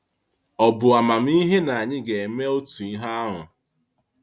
Ọ̀ bụ amamihe na anyị ga-eme otu ihe ahụ?